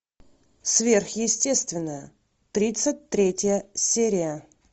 сверхъестественное тридцать третья серия